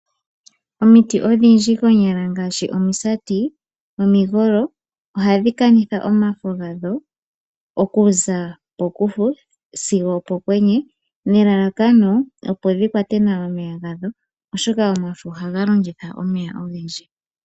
Omiti odhindji konyala ngaashi omisati, omigolo oha dhi kanitha omafo gadho okuza pokufu sigo opo kwenye nelalakano opo dhi kwate nawa omeya gadho oshoka omafo ohaga longitha omeya ogendji.